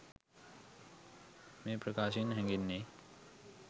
මේ ප්‍රකාශයෙන් හැඟෙන්නේ